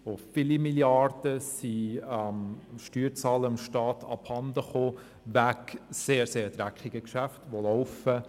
Viele Milliarden waren dem Steuerzahler abhandengekommen wegen sehr, sehr dreckiger Geschäfte, die laufen.